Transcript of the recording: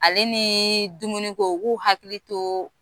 Ale niii dumuni ko u k'u hakili tooo